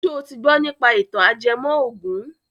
Ṣo ti gbọ nípa ìtàn ajẹmọ ògùn?